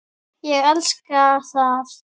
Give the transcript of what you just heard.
Ég elska það.